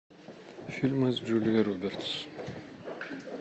фильмы с джулией робертс